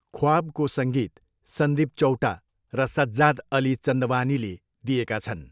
ख्वाबको सङ्गीत सन्दिप चौटा र सज्जाद अली चन्दवानीले दिएका छन्।